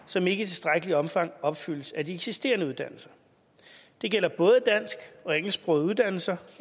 som ikke i tilstrækkeligt omfang opfyldes af de eksisterende uddannelser det gælder både dansk og engelsksprogede uddannelser